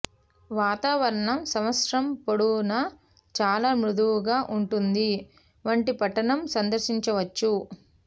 వాతావరణం సంవత్సరం పొడవునా చాలా మృదువుగా ఉంటుంది వంటి పట్టణం సందర్శించవచ్చు